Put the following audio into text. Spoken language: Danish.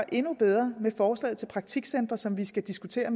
endnu bedre med forslaget til praktikcentre som vi skal diskutere